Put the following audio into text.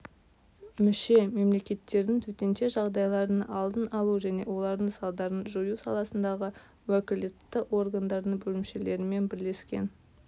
мүше мемлекеттердің төтенше жағдайлардың алдын алу және олардың салдарын жою саласындағы уәкілетті органдардың бөлімшелерімен бірлескен